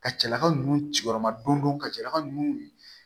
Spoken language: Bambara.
Ka cɛlaka ninnu ciyɔrɔma dondon ka cɛ ka nun